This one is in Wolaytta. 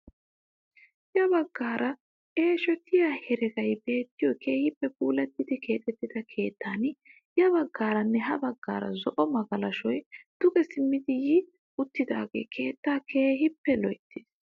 Ya baggaara eeshotiyaa heregay beettiyoo keehippe puulattidi keexettida keettan ya baggaaranne ha baggaara zo'o magalashoy duge simmidi yi uttidagee keettaa keehippe loyttiis!